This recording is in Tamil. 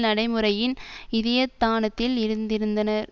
நடைமுறையின் இதயத்தானத்தில் இருந்திருந்தினர்